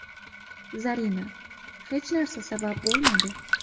Zarina: Hech narsa sabab bo‘lmadi.